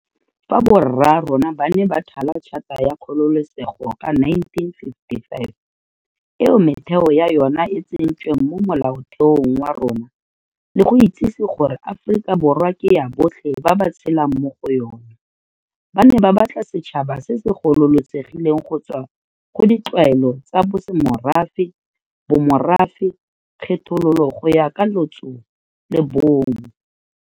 Fa borraarona ba ne ba thala Tšhata ya Kgololosego ka 1955, eo metheo ya yona e tsentsweng mo Molaotheong wa rona, le go itsise gore Aforika Borwa ke ya botlhe ba ba tshelang mo go yona, ba ne ba batla setšhaba se se gololosegileng go tswa go ditlwaelo tsa bosemorafe, bomorafe, kgethololo go ya ka lotso le bong.